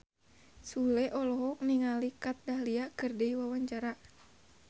Sule olohok ningali Kat Dahlia keur diwawancara